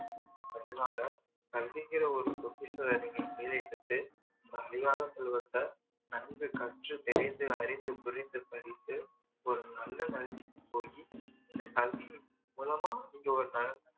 அதனால கல்விங்கிற ஒரு பொகிஷத்த நீங்க கையில எடுத்து அந்த அழியாத செல்வத்த நன்கு கற்று தெரிந்து அறிந்து புரிந்து படித்து ஒரு நல்ல நிலமைக்கு போய் இந்த கல்வி மூலமா நீங்க ஒரு நல்ல